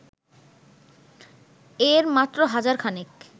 এর মাত্র হাজারখানেক